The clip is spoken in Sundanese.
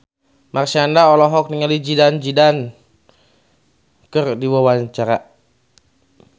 Marshanda olohok ningali Zidane Zidane keur diwawancara